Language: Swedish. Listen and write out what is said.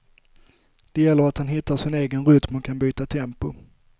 Det gäller att han hittar sin egen rytm och kan byta tempo.